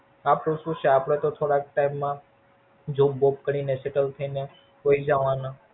આપડે શું છે? આપડે તો થોડાક ટાઈમ માં Jobwob કરી ને Settle થઇ ને વઈજવાના.